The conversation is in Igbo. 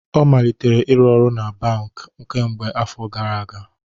Ọ malitere ịrụ ọrụ na bamk kemgbe afọ gara aga